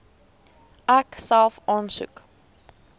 ek self aansoek